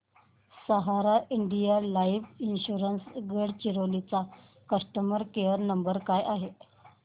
सहारा India life insurance Gadchiroli चा customer care number काय आहे